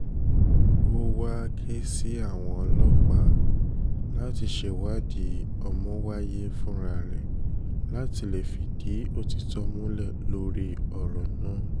ó wàá ké sí àwọn ọlọ́pàá láti ṣèwádìí ọmọwáiye fúnra rẹ láti lè fìdí òtítọ́ múlẹ̀ lórí ọ̀rọ̀ náà